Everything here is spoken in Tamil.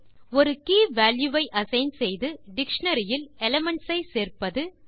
3ஒரு கீவால்யூ ஐ அசைன் செய்வது டிக்ஷனரி இல் எலிமென்ட்ஸ் ஐ சேர்ப்பது